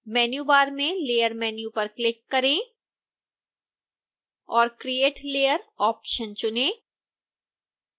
menu बार में layer menu पर क्लिक करें और create layer ऑप्शन चुनें